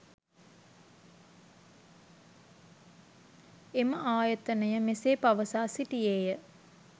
එම ආයතනය මෙසේ පවසා සිටියේය